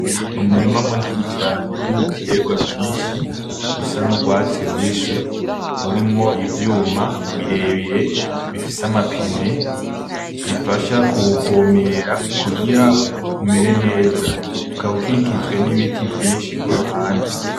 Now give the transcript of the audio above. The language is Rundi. Umurima munini cane, urimwo Ibiterwa vyinshi bisa n'urwatsi rubisi ,urimwo ivyuma birebire bifise amapine ,bifasha kuvomera kugira ngo umere neza ,ukaba ukikijwe n'ibiti vyinshi kuruhande